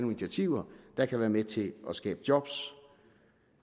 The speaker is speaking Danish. initiativer der kan være med til at skabe job